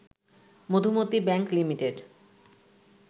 Madhumati bank limited